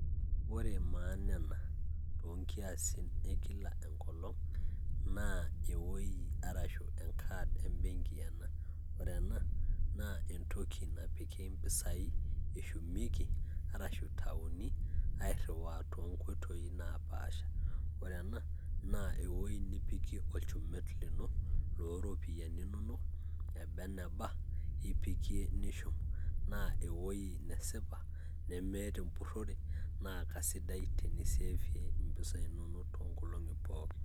ore maana ena too nkiasin e kila enkolong' na ewui arashu enkaad ebenki ena. ore ena naa entoki napiki impisai eshumieki arshu itauni airiwaa too nkoitoi naapasha. ore ena naa ewui nipikie olchumet lino loo mpisai eba eneba. naa ipikie nishum, naa eba eneba, nemeeta empurore, naa kesidai tenishumie impisai inonok.